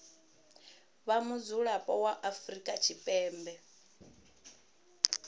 vha mudzulapo wa afrika tshipembe